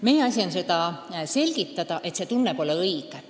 Meie asi on selgitada, et see tunne pole õige.